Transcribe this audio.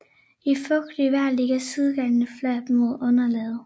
I fugtigt vejr ligger sidegrenene fladt mod underlaget